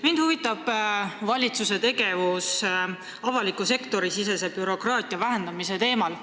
Mind huvitab valitsuse tegevus avaliku sektori sisese bürokraatia vähendamisel.